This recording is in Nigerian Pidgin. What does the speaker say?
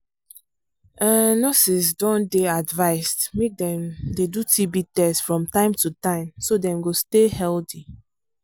um nurses don dey advised make dem dey do tb test from time to time so dem go stay healthy